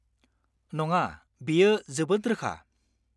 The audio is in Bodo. नङा, बेयो जोबोद रोखा।